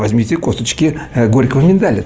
возьмите косточки горького миндаля